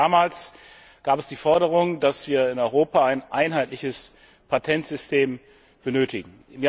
Schon damals gab es die Forderung, dass wir in Europa ein einheitliches Patentsystem benötigen.